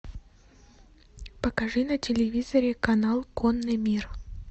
покажи на телевизоре канал конный мир